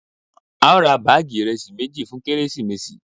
Ao ra baagi iresi meji fun keresimesi